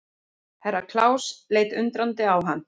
Herra Klaus leit undrandi á hann.